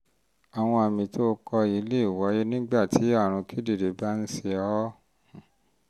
àwọn àmì tó o um kọ um yìí lè wáyé nígbà tí àrùn kíndìnrín bá ń ṣe um ọ́